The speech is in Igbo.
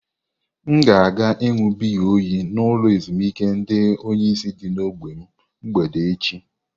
Aga m aga iṅụ biya oyi n'ụlọ ezimuike ndi onyeisi dị n'ógbè m mgbede eche.